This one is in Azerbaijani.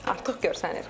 Artıq görsənir.